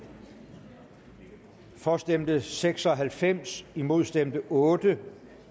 for stemte seks og halvfems imod stemte otte